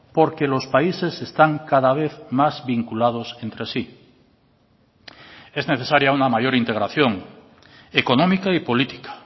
porque los países están cada vez más vinculados entre sí es necesaria una mayor integración económica y política